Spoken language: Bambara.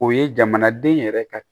O ye jamanaden yɛrɛ ka